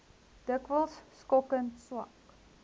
dikwels skokkend swak